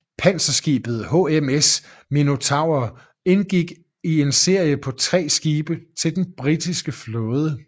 Panserskibet HMS Minotaur indgik i en serie på tre skibe til den britiske flåde